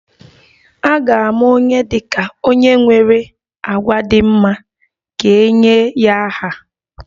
A ga-ama onye dị ka onye nwere àgwà dị mma ka e nye ya aha